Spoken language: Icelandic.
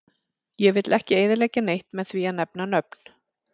Ég vill ekki eyðileggja neitt með því að nefna nöfn.